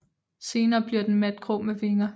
Senere bliver den matgrå med vinger